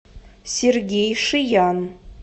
сергей шиян